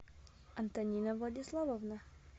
антонина владиславовна